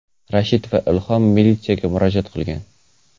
Rashid va Ilhom militsiyaga murojaat qilgan.